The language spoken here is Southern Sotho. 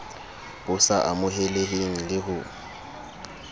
bo sa amoheleheng le ho